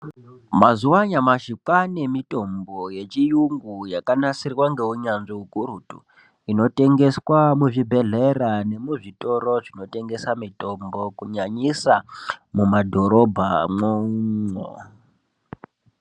Mazuva anyamashi kwaanemitombo yechiyungu yakanasirwa ngeunyanzvi hukurutu inotengeswa muzvibhedhlera nemuzvitoro zvinotengesa mitombo, kunyanyisa mumadhorobhamwo umwo.